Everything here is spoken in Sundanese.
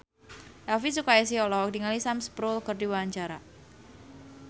Elvi Sukaesih olohok ningali Sam Spruell keur diwawancara